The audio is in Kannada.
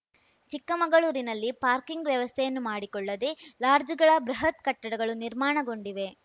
ಚಿಕ್ಕಮಗಳೂರಿನಲ್ಲಿ ಪಾರ್ಕಿಂಗ್‌ ವ್ಯವಸ್ಥೆಯನ್ನೂ ಮಾಡಿಕೊಳ್ಳದೆ ಲಾಡ್ಜ್‌ಗಳ ಬೃಹತ್‌ ಕಟ್ಟಡಗಳು ನಿರ್ಮಾಣಗೊಂಡಿವೆ